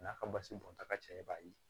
N'a ka basi bɔnta ka ca i b'a ye